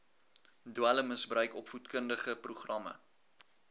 dwelmmisbruik opvoedkundige programme